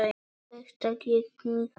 Þetta gekk mjög vel.